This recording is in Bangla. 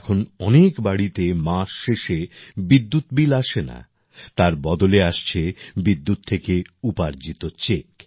এখন অনেক বাড়িতে মাস শেষে বিদ্যুৎ বিল আসে না তার বদলে আসছে বিদ্যুৎ থেকে উপার্জিত চেক